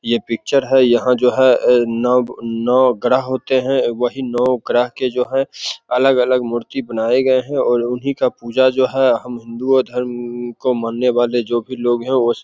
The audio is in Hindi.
ये पिक्चर है। यहाँ जो नव नौ ग्रह होते है। वही नव ग्रह के जो है अलग-अलग मूर्ति बनाये गए है और उन्ही का पूजा जो है हम हिन्दुओ धर्म को मानने वाले जो भी लोग है वो --